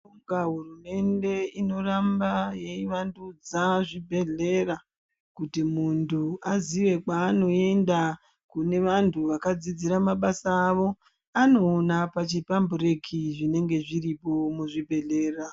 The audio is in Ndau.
Hurumende inoramba yevandudza zvibhehlera kuti muntu aziye kwaanoenda kunevantu vakadziidzira mabasa avao anoona pachipumbureki zvinenge zviripo muzviibhehleya.